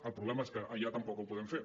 el problema és que allà tampoc ho podem fer